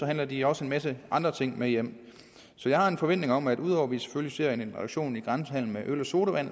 handler de også en masse andre ting med hjem så jeg har en forventning om at ud over at vi selvfølgelig ser en reduktion i grænsehandel med øl og sodavand